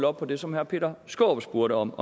op på det som herre peter skaarup spurgte om